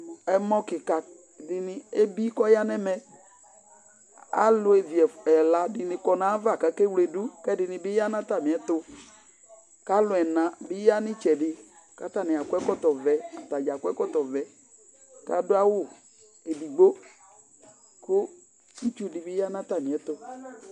ɛmɔ keka dini ebi ko ɔya no ɛmɛ alevi ɛla di ni kɔ no ava ko ake wle do ko ɛdini bi ya no atamiɛto ko alo ɛna bi ya no itsɛdi ko atani akɔ ɛkɔtɔ vɛ ko atadza akɔ ɛkɔtɔ vɛ ko ado awu edigbo ko itsu di bi ya no atamiɛto